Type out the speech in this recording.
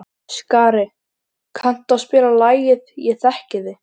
Skari, kanntu að spila lagið „Ég þekki þig“?